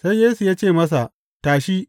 Sai Yesu ya ce masa, Tashi!